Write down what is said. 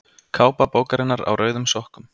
Kápa bókarinnar Á rauðum sokkum.